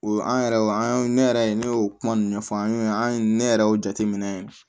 O an yɛrɛ o an ne yɛrɛ ne y'o kuma ninnu fɔ an y'o an ne yɛrɛ y'o jateminɛ